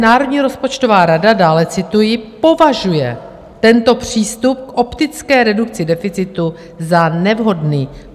Národní rozpočtová rada" - dále cituji - "považuje tento přístup k optické redukci deficitu za nevhodný."